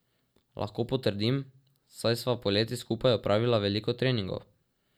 Lahko potrdim, saj sva poleti skupaj opravila veliko treningov.